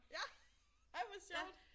Ja ej hvor sjovt